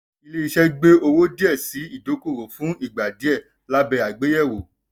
ilé iṣẹ́ gbé owó díẹ̀ sí ìdókòwò fún ìgbà díẹ̀ labẹ́ àgbéyẹ̀wò.